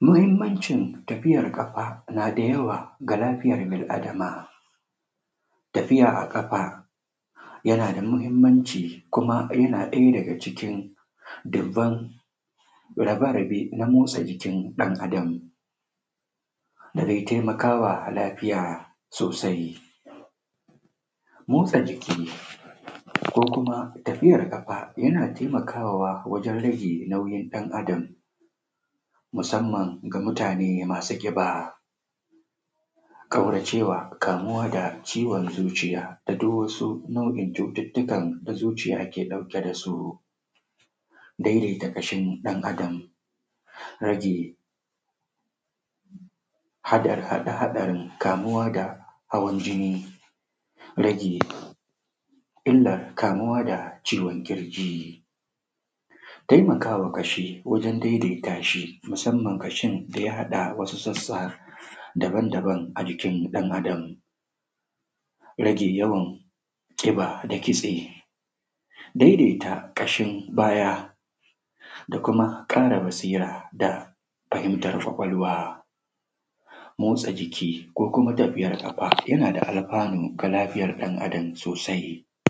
muhimmancin tafiya ƙafa na da yawa ga lafiya bil adama tafiya a kafa yana da muhimmanci kuma yana ɗaya daga cikin dubban rabe-raben na motsa jikin ɗan Adam da dai taimakawa lafiya sosai. Motsa jiki ko kuma tafiyar ƙafa yana taimakawa wajen rage nayin ɗan Adam Musamman ga mutane masu ƙiba da ƙauracewa kamuwa da ciwon zuciya da duk wasu nau'o'in cututtukan da zuciya ke ɗauke da su don in ta ƙashin ɗan Adam rage haɗarin kamuwa da hawan jini rage illar kamuwa da ciwon ƙirji taimakawa kashi wajen daidaita shi musamman ƙashi da ya haɗa wasu sassa daban-daban a jikin ɗan Adam rage kiba da kitse daidaita ƙashin baya da kuma ƙara basira da fahimtar ƙwaƙwalwa. Motsa jiki ko kuma tafiyar ƙafa yana da alfanu ga lafiyar ɗan Adam sosai.